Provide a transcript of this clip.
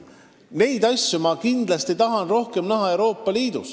Neid asju ma kindlasti tahan Euroopa Liidus rohkem näha.